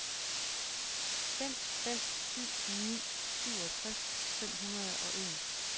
fem fem syv ni syvogtres fem hundrede og en